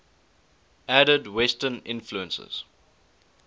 added western influences